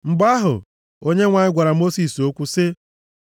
Mgbe ahụ, Onyenwe anyị gwara Mosis okwu sị: